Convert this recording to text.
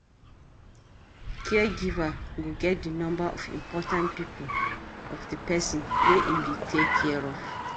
Caregiver go get di number of important people of di person wey im dey take care of